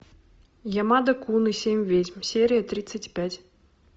ямада кун и семь ведьм серия тридцать пять